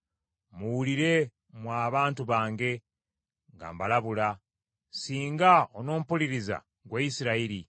Muwulire, mmwe abantu bange, nga mbalabula. Singa onompuliriza, ggwe Isirayiri!